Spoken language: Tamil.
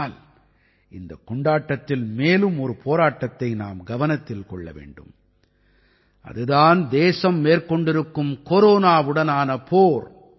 ஆனால் இந்தக் கொண்டாட்டத்தில் மேலும் ஒரு போராட்டத்தை நாம் கவனத்தில் கொள்ள வேண்டும் அது தான் தேசம் மேற்கொண்டிருக்கும் கொரோனாவுடனான போர்